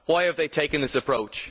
Why have they taken this approach?